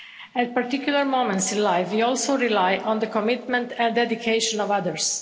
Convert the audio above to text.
At particular moments in life we also rely on the commitment and dedication of others.